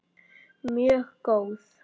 Mjög góð.